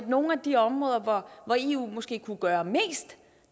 nogle af de områder hvor eu måske kunne gøre mest